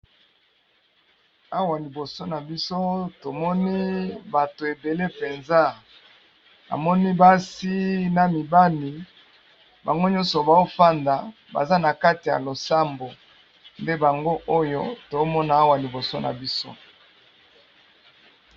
Awa liboso nabiso tomoni bato ebele penza namoni basi na mibali nango nyonso bazo fanda baza nakati ya losambo nde yango oyo nazo mona awa